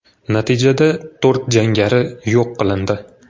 Natijada to‘rt jangari yo‘q qilindi.